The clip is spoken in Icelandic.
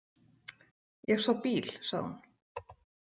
Ég sá bíl, sagði hún.